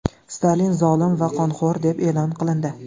Stalin zolim va qonxo‘r deb e’lon qilindi.